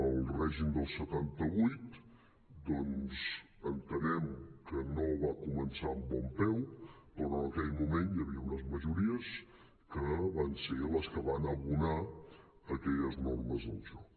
el règim del setanta vuit doncs entenem que no va començar amb bon peu però en aquell moment hi havia unes majories que van ser les que van abonar aquelles normes del joc